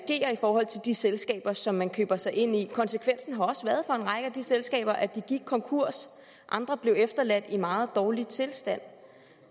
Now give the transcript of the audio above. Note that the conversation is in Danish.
forhold til de selskaber som man køber sig ind i konsekvensen har også været for en række af de selskaber at de gik konkurs andre blev efterladt i meget dårlig tilstand